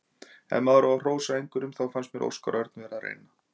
Ef maður á að hrósa einhverjum þá fannst mér Óskar Örn vera að reyna.